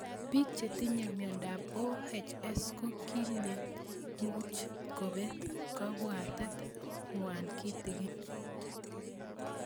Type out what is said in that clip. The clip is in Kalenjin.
Pik chetinye miondop OHS ko kilen much kopet kabwatet ng'wai kitig'in